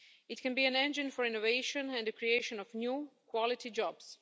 It can be an engine for innovation and the creation of new quality jobs.